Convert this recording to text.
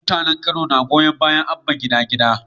Mutanen kano na goyon bayan Abba gida gida